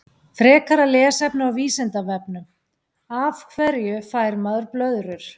Frekara lesefni á Vísindavefnum Af hverju fær maður blöðrur?